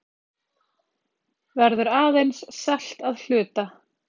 Verður aðeins selt að hluta